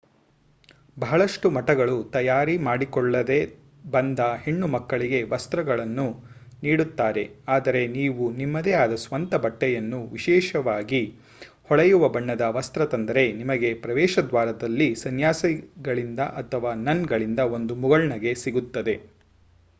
ಬಹಳಷ್ಟು ಮಠಗಳು ತಯಾರಿ ಮಾಡಿಕೊಳ್ಳದೆ ಬಂದ ಹೆಣ್ಣು ಮಕ್ಕಳಿಗೆ ವಸ್ತ್ರಗಳನ್ನು ನೀಡುತ್ತಾರೆ ಆದರೆ ನೀವು ನಿಮ್ಮದೆ ಆದ ಸ್ವಂತ ಬಟ್ಟೆಯನ್ನು ವಿಶೇಷವಾಗಿ ಹೊಳೆಯುವ ಬಣ್ಣದ ವಸ್ತ್ರ ತಂದರೆ ನಿಮಗೆ ಪ್ರವೇಶದ್ವಾರದಲ್ಲಿ ಸನ್ಯಾಸಿಗಳಿಂದ ಅಥವಾ ನನ್ಗಳಿಂದ ಒಂದು ಮುಗುಳ್ನಗೆ ಸಿಗುತ್ತದೆ